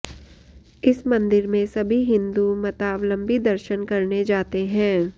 इस मंदिर में सभी हिंदू मतावलंबी दर्शन करने जाते हैं